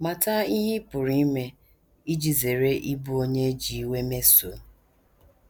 Mata ihe ị pụrụ ime iji zere ịbụ onye e ji iwe mesoo.